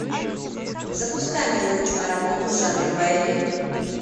запускай милую киноработу жанр боевик